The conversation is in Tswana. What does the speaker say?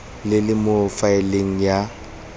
le le mo faeleng ya